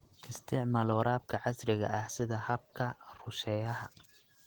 Isticmaal waraabka casriga ah sida habka rusheeyaha.